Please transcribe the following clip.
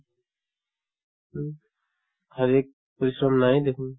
উম, question নাই দেখুন